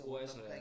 Oaser ja